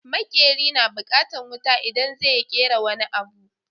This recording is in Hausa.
Maƙeri na bukatan wuta idan zai yi ƙera wani abu